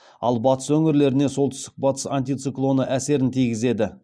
ал батыс өңірлеріне солтүстік батыс антициклоны әсерін тигізеді